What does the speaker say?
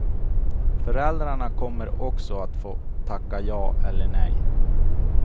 Föräldrarna kommer också att få tacka ja eller nej.